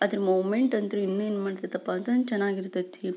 ಅದ್ರ ಮೊಮೆಂಟ್ ಅಂದ್ರೆ ಇನ್ನು ಏನ್ ಮಾಡುತಪ್ಪ ಅಂದ್ರೆ ಚೆನ್ನಾಗಿ ಇರ್ತತೇ.